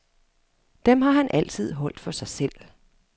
Dem har han altid holdt for sig selv.